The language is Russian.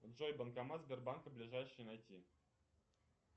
джой банкомат сбербанка ближайший найти